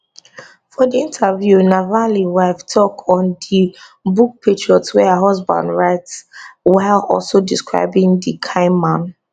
for di interview navalny wife tok on di book patriot wey her husband write while also describing di kian man